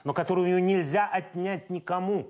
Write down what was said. ну которую нельзя отнять никому